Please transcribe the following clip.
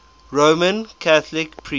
roman catholic priests